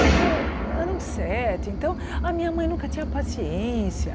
Porque eram sete, então a minha mãe nunca tinha paciência.